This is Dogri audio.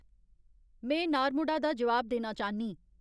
में नार्मोडा दा जवाब देना चाह्न्नीं